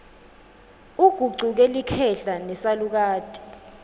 ugucuke likhehla nesalukati